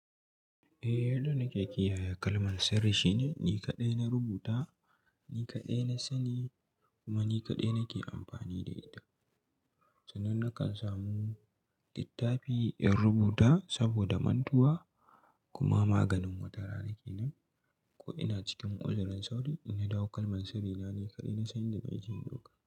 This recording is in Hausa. Eh, yadda nake kiyaye kalman sirri shine ni kaɗai na rubuta, ni kaɗai na sani kuma ni kaɗai nake amfani da ita. Sanan nakan samu littafi in rubuta saboda mantuwa kuma maganin watarana kenan. Ko ina cikin uzurin sauri in na dawo, kalman sirrina ni kaɗai na sani inda zan je in dauka.